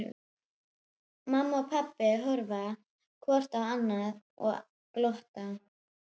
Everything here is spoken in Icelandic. Mamma og pabbi horfa hvort á annað og glotta.